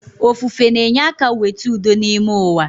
Ofufe na-enye aka weta udo n’ime uwa